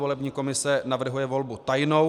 Volební komise navrhuje volbu tajnou.